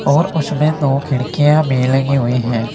और उसमें दो खिड़कियां भी लगी हुई हैं।